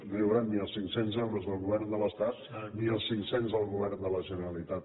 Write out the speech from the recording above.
no hi hauran ni els cinc cents euros del govern de l’estat ni els cinc cents del govern de la generalitat